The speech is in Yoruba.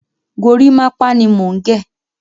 Gorímápá ni mò ń gẹ̀.